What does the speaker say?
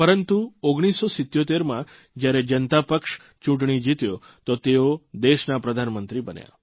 પરંતુ 1977માં જયારે જનતા પક્ષ ચૂંટણી જીત્યો તો તેઓ દેશના પ્રધાનમંત્રી બન્યા